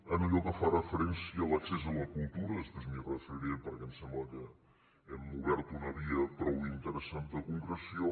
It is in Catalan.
en allò que fa referència a l’accés a la cultura després m’hi referiré perquè em sembla que hem obert una via prou interessant de concreció